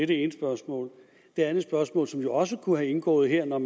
det ene spørgsmål det andet spørgsmål som jo også kunne være indgået her når